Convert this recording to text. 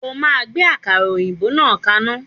O máa gbé àkàrà òyìnbó náà kaná!